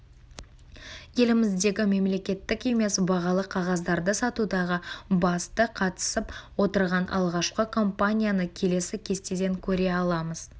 еліміздегі мемлекеттік емес бағалы қағаздарды сатудағы басты қатысып отырған алғашқы компанияны келесі кестеден көре аламыз